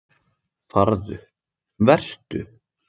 Farðu- Vertu.